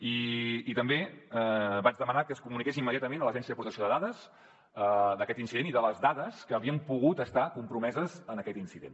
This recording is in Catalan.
i també vaig demanar que es comuniqués immediatament a l’agència de protecció de dades aquest incident i les dades que havien pogut estar compromeses en aquest incident